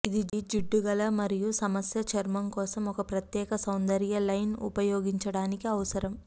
ఇది జిడ్డుగల మరియు సమస్య చర్మం కోసం ఒక ప్రత్యేక సౌందర్య లైన్ ఉపయోగించడానికి అవసరం